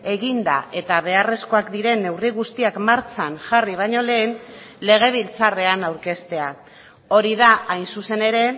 eginda eta beharrezkoak diren neurri guztiak martxan jarri baino lehen legebiltzarrean aurkeztea hori da hain zuzen ere